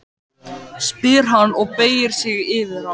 spyr hann og beygir sig yfir hana.